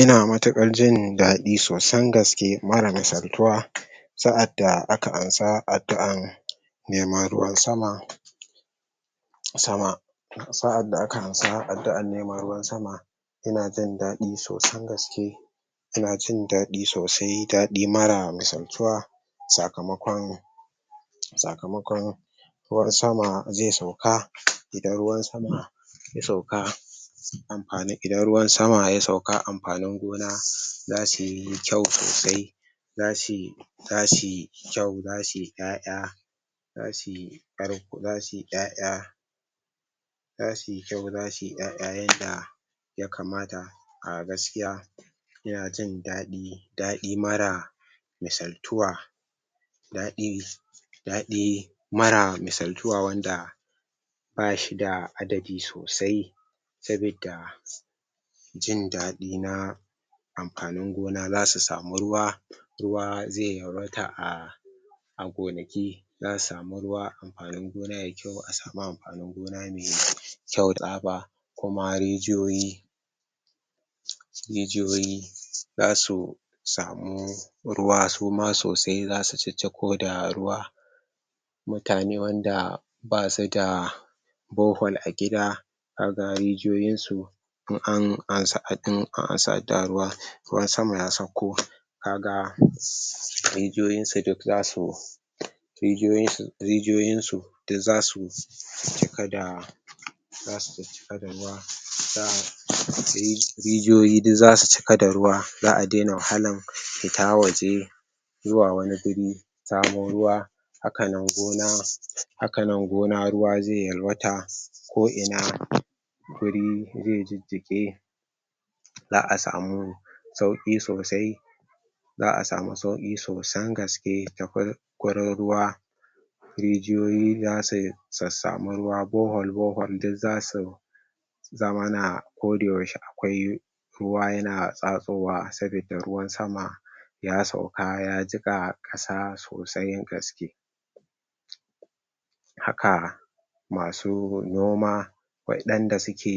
Ina mutuƙar jin daɗi sosan gaske mara misaltuwa, sa'adda aka ansa addu'an neman ruwan sama sama sa'adda aka ansa addu'an neman ruwan sama, ina jin daɗi sosan gaske ina jin daɗi sosai, daɗi mara misaltuwa sakamakon sakamakon ruwan sama ze sauka. Idan ruwan sama ya sauka amfanin idan ruwan sama ya sauka amfanin gona zasuyi kyau sosai, zasuyi zasuyi kyau, zasuyi ƴaƴa, zasuyi ƙarko, zasuyi ƴaƴa zasuyi kyau zasuyi ƴaƴa yanda ya kamata, a gaskiya inajin daɗi, daɗi mara misaltuwa, daɗi daɗi mara misaltuwa wanda bashi da adadi sosai, sabida jin daɗi na amfanin gona zasu samu ruwa, ruwa ze yawaita a a gonaki, za su samu ruwa amfanin gona yai kyau a samu amfanin gona mai kyau da kuma rijiyoyi rijiyoyi zasu samu ruwa suma sosai zasu cicciko da ruwa, mutane wanda basuda bore hole a gida kaga rijiyoyin su in an ansa in an ansa addu'an ruwa, ruwan sama ya saukko, kaga rijiyoyin su duk zasu rijiyoyin su rijiyoyin su duk zasu cika da zasu ciccika da ruwa rijiyoyi du zasu cika da ruwa, za'a daina wahalan fita waje zuwa wani guri samo ruwa, hakanan gona hakanan gona ruwa ze yalwata ko ina guri zai jijjiƙe, za'a samu sauƙi sosai, za'a samu sauƙi sosan gaske ta gurin ruwa, rijiyoyi zasu sassamu ruwa borehole-borehole duk zasu zamana koda yaushe akwai ruwa yana tsatsowa sabidda ruwan sama ya sauka ya jiƙa ƙasa sosan gaske. Haka masu noma waɗanda suke